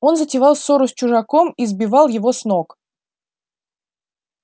он затевал ссору с чужаком и сбивал его с ног